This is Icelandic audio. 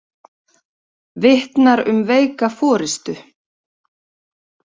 Vitnar um veika forystu